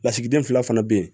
Lasigiden fila fana bɛ yen